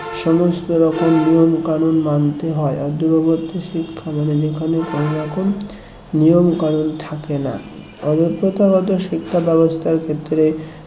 সমস্ত রকম নিয়ম কানুন মানতে হয় দূরবর্তী শিক্ষা মানে যেখানে কোনরকম নিয়ম-কানুন থাকে না অবশ্য প্রথাগত শিক্ষা ব্যাবস্থার ক্ষেত্রে